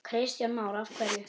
Kristján Már: Af hverju?